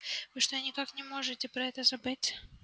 вы что никак не можете про это забыть